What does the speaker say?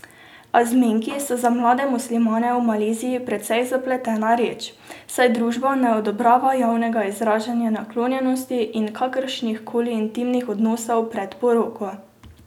A zmenki so za mlade muslimane v Maleziji precej zapletena reč, saj družba ne odobrava javnega izražanja naklonjenosti in kakršnih koli intimnih odnosov pred poroko.